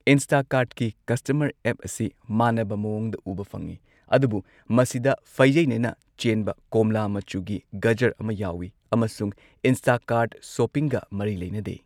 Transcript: ꯏꯟꯁꯇꯥꯀꯥꯔꯠꯀꯤ customer app ꯑꯁꯤ ꯃꯥꯟꯅꯕ ꯃꯑꯣꯡꯗ ꯎꯕ ꯐꯪꯉꯤ ꯑꯗꯨꯕꯨ ꯃꯁꯤꯗ ꯐꯩꯖꯩꯅꯅ ꯆꯦꯟꯕ ꯀꯣꯝꯂꯥ ꯃꯆꯨꯒꯤ ꯒꯖꯔ ꯑꯃ ꯌꯥꯎꯋꯤ ꯑꯃꯁꯨꯡ ꯏꯟꯁꯇꯥꯀꯥꯔꯠ ꯁꯣꯞꯄꯤꯡꯒ ꯃꯔꯤ ꯂꯩꯅꯗꯦ꯫